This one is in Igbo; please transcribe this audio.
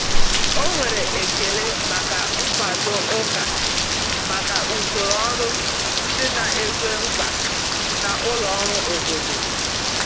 Ọ nwere ekele maka nkwado ụka maka usoro ọrụ ndị na-ekwe nkwa na ụlọ ọrụ obodo.